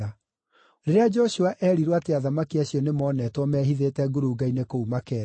Rĩrĩa Joshua eerirwo atĩ athamaki acio nĩmonetwo mehithĩte ngurunga-inĩ kũu Makeda,